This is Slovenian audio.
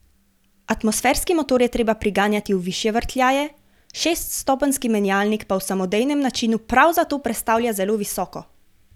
Atmosferski motor je treba priganjati v višje vrtljaje, šeststopenjski menjalnik pa v samodejnem načinu prav zato prestavlja zelo visoko.